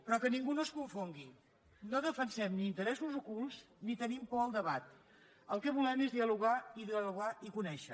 però que ningú no es confongui no defensem ni interessos ocults ni tenim por al debat el que volem és dialogar i dialogar i conèixer